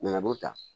N nana n b'o ta